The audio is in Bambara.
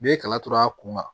N'i ye kala tora a kun na